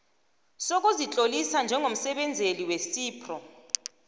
sokuzitlolisa njengomsebenzeli wecipro